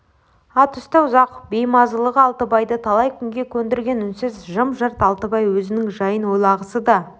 ат үсті ұзақ уақыт беймазалығы алтыбайды талай күйге көндірген үнсіз жым-жырт алтыбай өзінің жайын ойлағысы да